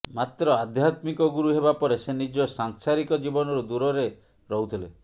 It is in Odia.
ମାତ୍ର ଆଧ୍ୟାତ୍ମିକ ଗୁରୁ ହେବା ପରେ ସେ ନିଜ ସାଂସାରିକ ଜୀବନରୁ ଦୂରରେ ରହୁଥିଲେ